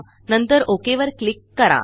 नंतरOKवर click करा